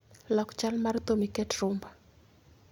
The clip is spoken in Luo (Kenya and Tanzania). Lok chal mar thum iket rumba